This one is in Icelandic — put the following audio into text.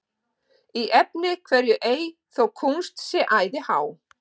Í efni hverju ei þó kúnst sé æði há,